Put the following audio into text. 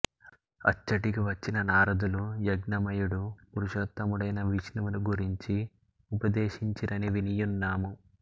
అచ్చటికి వచ్చిన నారదులు యజ్ఞమయుడు పురుషో త్తముడైన విష్ణువును గురించి ఉపదేశించిరని వినియున్నాము